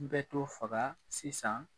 I bɛ dɔ faga sisan.